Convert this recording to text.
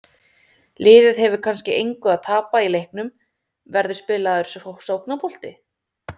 Liðið hefur kannski engu að tapa í leiknum, verður spilaður sóknarbolti?